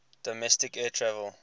domestic air travel